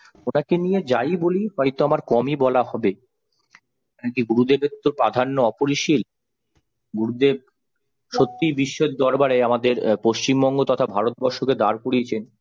ওনাকে নিয়ে যাই বলি হয়তো আমার কমই বলা হবে। আগে গুরুদেবের তো প্রাধান্য অপরিশিল। গুরুদেব সত্যিই বিশ্বের দরবারে আমাদের পশ্চিমবঙ্গ তথা ভারতবর্ষকে দাঁড় করিয়েছেন।